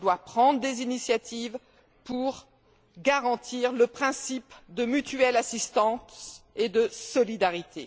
Elle doit prendre des initiatives pour garantir le principe de l'assistance mutuelle et de la solidarité.